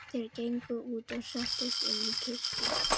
Þeir gengu út og settust inn í kirkju.